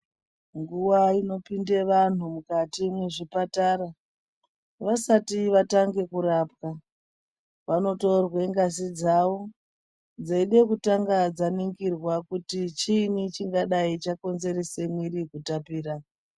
Nguva inopinda vantu mukati mwezvipatara vasati vatange kurapwa, vanotorwa ngazi dzavo dzeida kutanga dzaningirwa kuti chiini chingadai chakonzeresa mwiri kutapira.